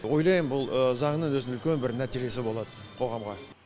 ойлайм бұл заңның өзінің үлкен бір нәтижесі болады қоғамға